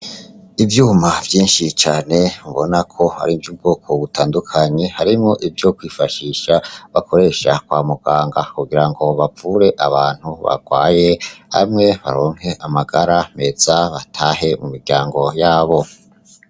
Ivyuma vyinshi cane ubona ko ari ivy'ubwoko butandukanye, harimwo ivyo kwifashisha bakoresha kwa muganga kugira ngo bavure abantu bagwaye, bamwe baronke amagara meza batahe mu miryango yabo.